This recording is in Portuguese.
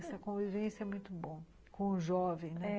Essa convivência é muito bom com o jovem, né?